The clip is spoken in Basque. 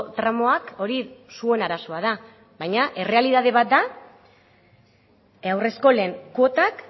tramoak hori zuen arazoa da baina errealitate bat da haurreskolen kuotak